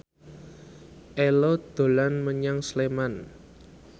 Ello dolan menyang Sleman